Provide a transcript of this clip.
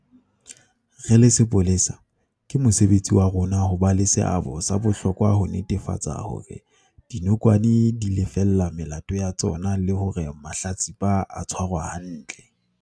"Re le sepolesa, ke mosebetsi wa rona ho ba le seabo sa bohlokwa ho netefatsa hore dinokwane di lefella melato ya tsona le hore mahlatsipa a tshwarwa hantle."